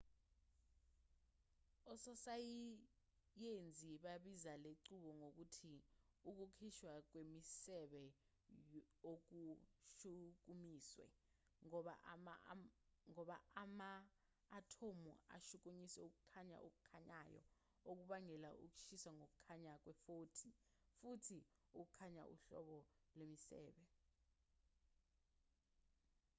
ososayenzi babiza lenqubo ngokuthi ukukhishwa kwemisebe okushukumisiwe ngoba ama-athomu ashukunyiswa ukukhanya okukhanyayo okubangela ukukhishwa kokukhanya kwefothoni futhi ukukhanya uhlobo lwemisebe